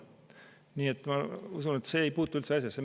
Nii et ma usun, et see ei puutu üldse asjasse.